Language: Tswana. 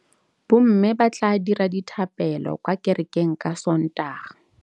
Bommê ba tla dira dithapêlô kwa kerekeng ka Sontaga.